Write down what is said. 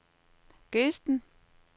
Gesten